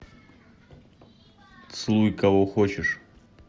целуй кого хочешь